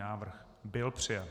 Návrh byl přijat.